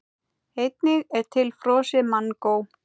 Einnig er til frosið mangó.